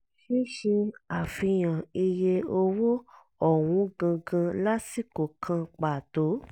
ṣíṣe àfihàn iye owó ọ̀hún gangan lásìkò kan pàtó